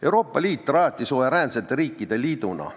Euroopa Liit rajati suveräänsete riikide liiduna.